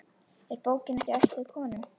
Er bókin ekki ætluð konum?